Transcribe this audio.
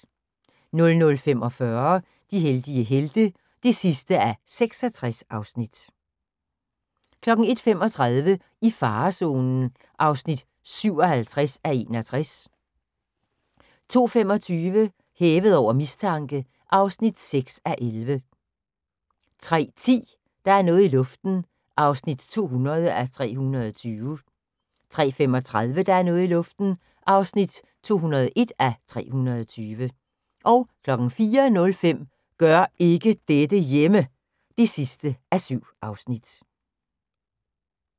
00:45: De heldige helte (66:66) 01:35: I farezonen (57:61) 02:25: Hævet over mistanke (6:11) 03:10: Der er noget i luften (200:320) 03:35: Der er noget i luften (201:320) 04:05: Gør ikke dette hjemme! (7:7)